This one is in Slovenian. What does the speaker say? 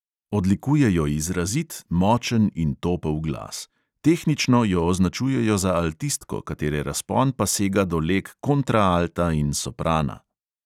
Odlikuje jo izrazit, močen in topel glas; tehnično jo označujejo za altistko, katere razpon pa sega do leg kontraalta in soprana.